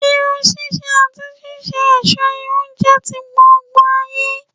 Irun ṣíṣe àti ṣíṣe òṣó irun jẹ́ ti gbogbo ayé